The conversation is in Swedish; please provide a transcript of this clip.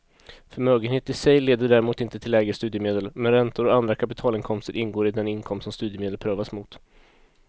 Förmögenhet i sig leder däremot inte till lägre studiemedel, men räntor och andra kapitalinkomster ingår i den inkomst som studiemedel prövas mot.